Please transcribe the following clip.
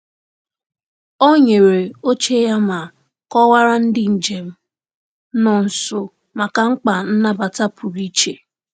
Ọ nyere oche ya ma kọwaara ndị njem nọ nso maka mkpa nnabata pụrụ iche.